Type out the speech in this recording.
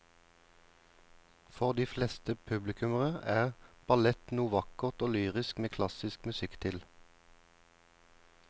For de fleste publikummere er ballett noe vakkert og lyrisk med klassisk musikk til.